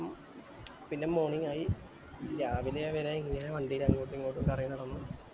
പിന്നെ morning ആയി രാവിലെ വരെ ഇങ്ങനെ വണ്ടില് അന്ഗോട്ട് ഇങ്ങോട്ടു കറങ്ങി നടന്നു